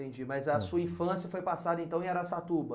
Entendi, mas a sua infância foi passada então em Araçatuba?